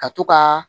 Ka to ka